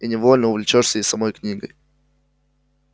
и невольно увлечёшься и самой книгой